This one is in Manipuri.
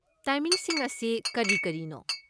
ꯇꯥꯏꯃꯤꯡꯁꯤꯡ ꯑꯁꯤ ꯀꯔꯤ ꯀꯔꯤꯅꯣ?